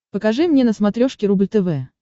покажи мне на смотрешке рубль тв